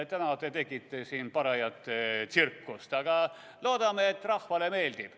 Täna te tegite siin parajat tsirkust, aga loodame, et rahvale meeldib.